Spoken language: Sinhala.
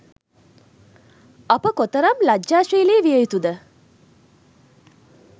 අප කොතරම් ලජ්ජාශීලි විය යුතුද?